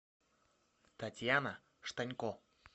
татьяна штанько